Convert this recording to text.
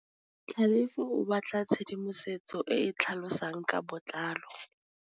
Tlhalefô o batla tshedimosetsô e e tlhalosang ka botlalô.